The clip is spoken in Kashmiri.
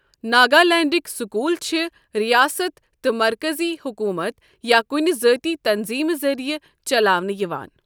ناگالینڈٕکۍ سکول چھ ریاست تہٕ مرکزی حکومت یا کُنہِ ذٲتی تنظیٖمہِ ذریعہٕ چلاونہٕ یِوان۔